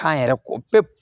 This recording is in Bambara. Kan yɛrɛ ko pewu